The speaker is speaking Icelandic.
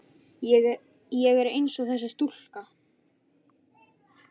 Segðu það ekki Lalli!